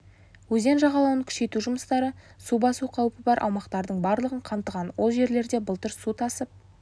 өзен жағалауын күшейту жұмыстары су басу қаупі бар аумақтардың барлығын қамтыған ол жерлерде былтыр су тасып